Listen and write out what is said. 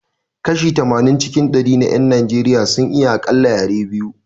Kashi tamanin cikin dari na 'yan Najeriya sun iya akalla yare biyu